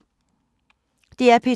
DR P2